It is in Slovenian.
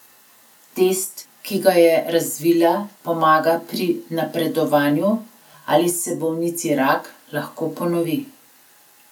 Test, ki ga je razvila pomaga pri napovedovanju, ali se bolnici rak lahko ponovi.